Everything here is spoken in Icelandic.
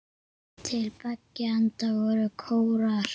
Til beggja enda voru kórar.